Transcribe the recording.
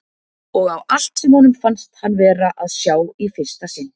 Og á allt sem honum fannst hann vera að sjá í fyrsta sinn.